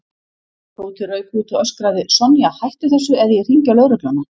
Tóti rauk út og öskraði: Sonja, hættu þessu eða ég hringi á lögregluna